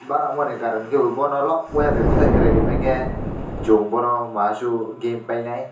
bo nangmani karon hwnkhe bono lokwe bai khwlai kwrai rimankhe chung bono masasuk bono game painai.